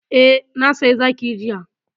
Eh, na saya zaki jiya.